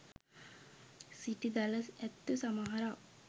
සිටි දළ ඇත්තු සමහරක්